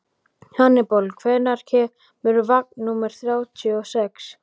Hannibal, hvenær kemur vagn númer þrjátíu og sex?